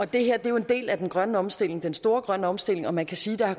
det her er jo en del af den grønne omstilling den store grønne omstilling og man kan sige der